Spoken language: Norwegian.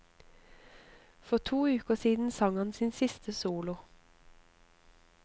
For to uker siden sang han sin siste solo.